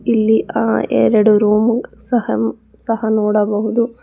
ಇಲ್ಲಿ ಆ ಎರಡು ರೂಮು ಸಹ ಸಹ ನೋಡಬಹುದು.